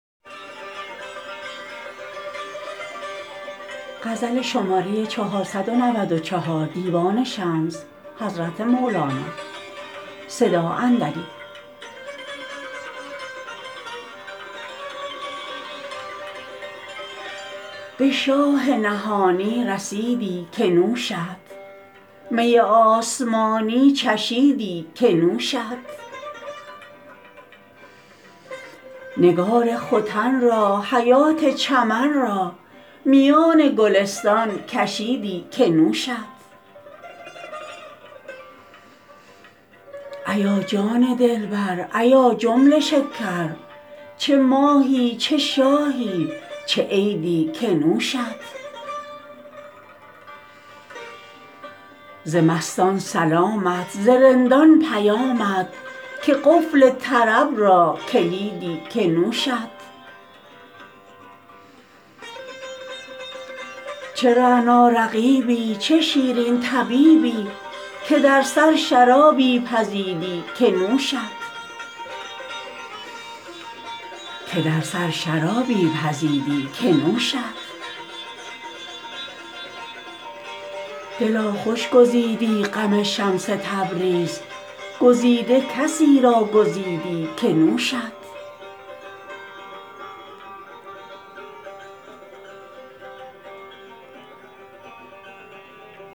به شاه نهانی رسیدی که نوشت می آسمانی چشیدی که نوشت نگار ختن را حیات چمن را میان گلستان کشیدی که نوشت ایا جان دلبر ایا جمله شکر چه ماهی چه شاهی چه عیدی که نوشت ز مستان سلامت ز رندان پیامت که قفل طرب را کلیدی که نوشت چه رعنا رقیبی چه شیرین طبیبی که در سر شرابی پزیدی که نوشت دلا خوش گزیدی غم شمس تبریز گزیده کسی را گزیدی که نوشت